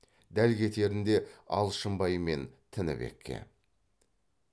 дәл кетерінде алшынбай мен тінібекке